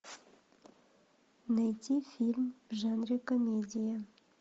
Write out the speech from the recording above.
найти фильм в жанре комедия